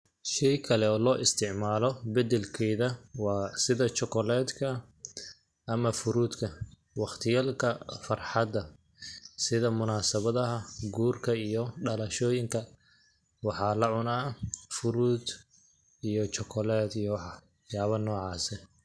Sheey kale o loo isticmaalo badel keeda waa sida chocolate ka ama fruit ka ,waqtiyaaalka farxada sida munaasabadaha guurka iyo dhalashooyinka, waxaa la cunaa fruit iyo chocolate iyo wax yaabo nocaas eh.